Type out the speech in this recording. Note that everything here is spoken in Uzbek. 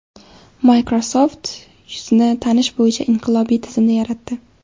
Microsoft yuzni tanish bo‘yicha inqilobiy tizimni yaratdi.